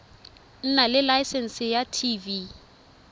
nna le laesense ya tv